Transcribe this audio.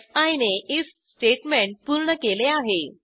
fee नेif statement पूर्ण केले आहे